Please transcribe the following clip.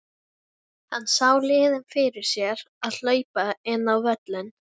Hann sá liðin fyrir sér að hlaupa inn á völlinn.